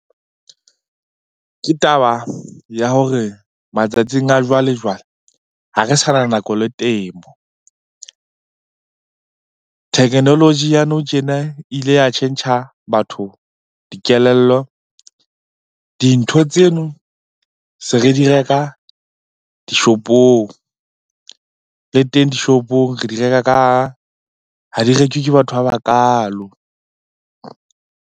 Ke taba ya hore matsatsing a jwale-jwale ha re sa na nako le temo. Technology ya nou tjena e ile ya tjhentjha batho dikelello. Dintho tseno se re di reka dishopong. Le teng dishoong re di reka ka, ha di rekwe ke batho ba bakaalo.